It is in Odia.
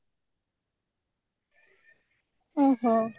ଓହୋ